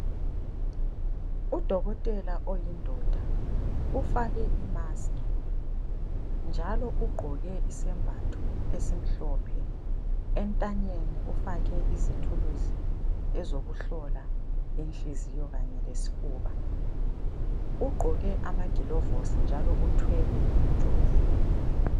UDokotela oyindoda ufake imaski njalo ugqoke isembatho esimhlophe, entanyeni ufake izithuluzi ezokuhlola inhliziyo kanye lesifuba. Ugqoke amagilovizi njalo uthwele umjovo.